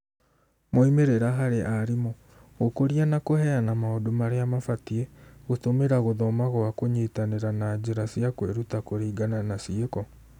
Moimĩrĩra harĩ aarimũ: gũkũria na kũheana maũndũ marĩa mabatĩe, gũtũmĩra gũthoma gwa kũnyitanĩra na njĩra cia kwĩruta kũringana na ciĩko.